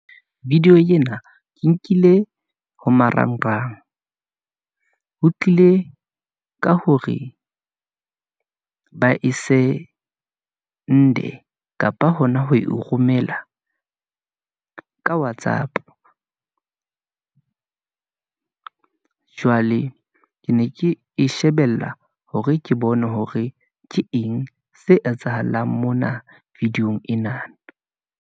Video ena ke nkile ho marangrang , ho tlile ka hore ba e send-e kapa hona ho e romela , ka whatsapp . Jwale ke ne ke e shebella hore ke bone hore ke eng se etsahalang mona video-ng enana.